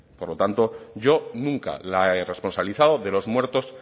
por lo tanto yo nunca la he responsabilizado de los muertos